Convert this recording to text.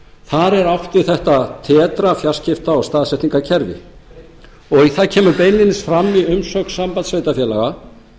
þar er átt við þetta tetra fjarskipta og staðsetningakerfið og það kemur beinlínis fram í umsögn sambands íslenskra sveitarfélaga